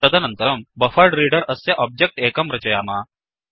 तदनन्तरं बफरेड्रेडर अस्य ओब्जेक्ट् एकं रचयाम